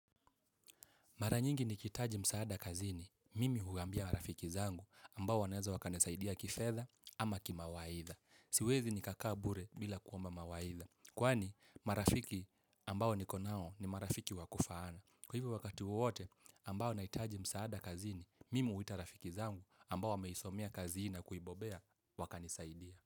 Mara nyingi nikihitaji msaada kazini, mimi uhuambia rafiki zangu ambao wanaweza wakanisaidia kifedha ama kimawaidha. Siwezi nikakaa bure bila kuomba mawaidha. Kwani marafiki ambao nikonao ni marafiki wakufaana. Kwa hivyo wakati wote ambao nahitaji msaada kazini, mimi huita rafiki zangu ambao wameisomea kazi hii na kuibobea wakanisaidie.